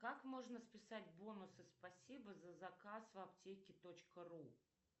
как можно списать бонусы спасибо за заказ в аптеке точка ру